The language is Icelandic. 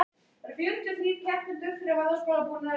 Það sem verst var: hann varð afbrýðisamur.